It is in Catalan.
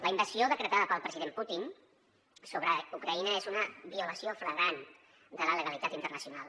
la invasió decretada pel president putin sobre ucraïna és una violació flagrant de la legalitat internacional